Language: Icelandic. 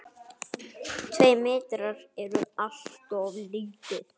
Tveir metrar eru alltof lítið.